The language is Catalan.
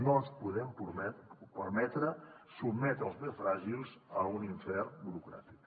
no ens podem permetre sotmetre els més fràgils a un infern burocràtic